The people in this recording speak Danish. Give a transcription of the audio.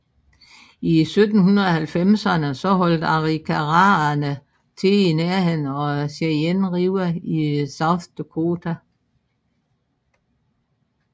I 1790erne holdt arikaraerne til i nærheden af Cheyenne River i South Dakota